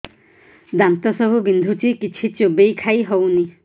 ଦାନ୍ତ ସବୁ ବିନ୍ଧୁଛି କିଛି ଚୋବେଇ ଖାଇ ହଉନି